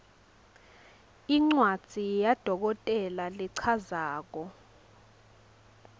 incwadzi yadokotela lechazako